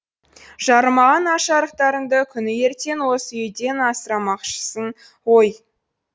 жарымаған аш арықтарыңды күні ертең осы үйден асырамақшысын ғой